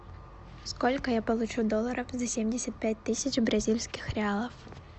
сколько я получу долларов за семьдесят пять тысяч бразильских реалов